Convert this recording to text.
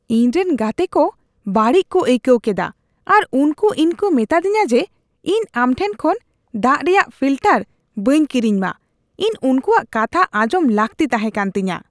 ᱤᱧᱨᱮᱱ ᱜᱟᱛᱮ ᱠᱚ ᱵᱟᱹᱲᱤᱡ ᱠᱚ ᱟᱹᱭᱠᱟᱹᱣ ᱠᱮᱫᱟ ᱟᱨ ᱩᱱᱠᱩ ᱤᱧᱠᱚ ᱢᱮᱛᱟ ᱫᱤᱧᱟᱹ ᱡᱮ ᱤᱧ ᱟᱢ ᱴᱷᱮᱱ ᱠᱷᱚᱱ ᱫᱟᱜ ᱨᱮᱭᱟᱜ ᱯᱷᱤᱞᱴᱟᱹᱨ ᱵᱟᱹᱧ ᱠᱤᱨᱤᱧ ᱢᱟ᱾ ᱤᱧ ᱩᱱᱠᱩᱭᱟᱜ ᱠᱟᱛᱷᱟ ᱟᱸᱡᱚᱢ ᱞᱟᱹᱠᱛᱤ ᱛᱟᱦᱮᱸᱠᱟᱱ ᱛᱤᱧᱟᱹ᱾ (ᱜᱟᱦᱟᱠ)